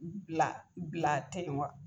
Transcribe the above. Bila bila ten wa?